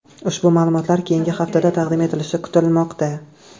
Ushbu ma’lumotlar keyingi haftada taqdim etilishi kutilmoqda.